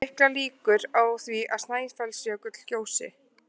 Erlendu heitin voru látin halda sér, þau þóttu hentugri í milliríkjaviðskiptum.